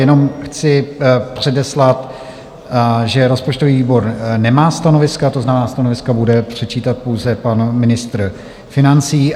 Jenom chci předeslat, že rozpočtový výbor nemá stanoviska, to znamená, stanoviska bude předčítat pouze pan ministr financí.